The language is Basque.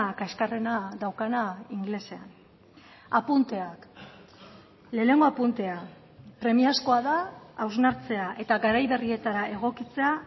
kaxkarrena daukana ingelesean apunteak lehenengo apuntea premiazkoa da hausnartzea eta garai berrietara egokitzea